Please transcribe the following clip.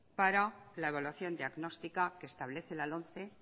para la evaluación diagnóstica que establece la lomce